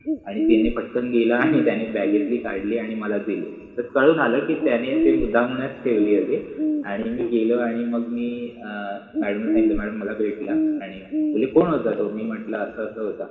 आणि त्यानि पटकन गेला आनि त्यानि बॅगेतलि काढलि आणि मला दिलि, तर कळुन आल कि त्याने ति मुद्दमुनच ठेवलि होति आणी मि गेलो आनी मग मि मॅड्म ला सांगितल मॅड्म मला भेटल, त्यानि बोलले कोण होता तो मि मटल अस तो होता